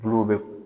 Bulu bɛ